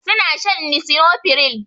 Su na shan lisinopril